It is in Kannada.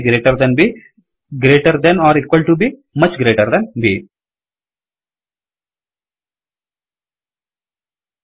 A greater than B greater than or equal to B much greater than B